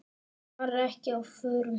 Hann var ekki á förum.